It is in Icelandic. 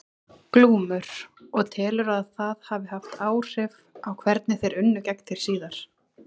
Glúmur: Og telurðu að það hafi haft áhrif á hvernig þeir unnu gegn þér síðar?